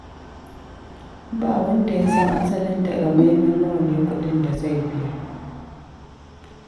Ba wanda ya san asalin takamaiman nawa ne kuɗin da zai biya